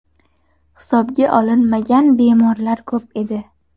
Hisobga olinmagan bemorlar ko‘p edi.